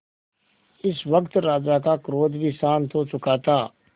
इस वक्त राजा का क्रोध भी शांत हो चुका था